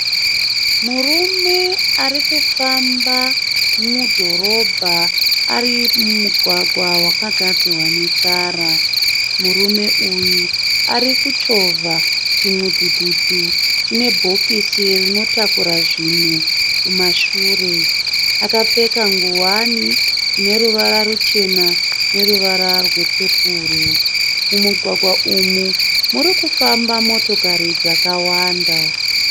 Murume ari kufamba mudhorobha ari mumugwagwa wakagadzirwa netara. Murume uyu ari kuchovha chimudhudhudhu chine bhokisi rinotakura zvinhu kumashure. Akapfeka ngowani ine ruvara ruchena neruvara rwepepuro. Mumugwagwa umu muri kufamba motokari dzakawanda.